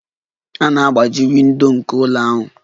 A na-agbaji windo nke ụlọ ahụ.